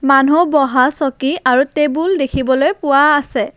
মানুহ বহা চকী আৰু টেবুল দেখিবলৈ পোৱা আছে।